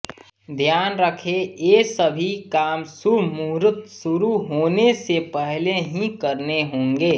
ध्यान रखें ये सभी काम शुभ मुहुरत शुरू होने से पहले ही करने होंगे